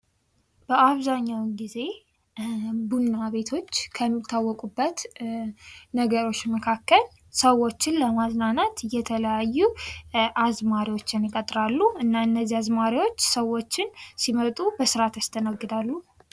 በአብዛኛው ጊዜ ቡና ቤቶች ከሚታወቁበት ነገሮች መካከል ሰዎችን ለማዝናናት የተለያዩ አዝማሪዎችን ይቀጥራሉ እና እነዚህ አዝማሪዎች ሰዎችን ሲመጡ በስራት ያስተናግዳሉ።